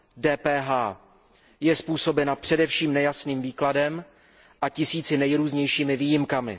DPH je způsobena především nejasným výkladem a tisíci nejrůznějšími výjimkami.